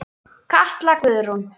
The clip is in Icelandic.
Katla Guðrún.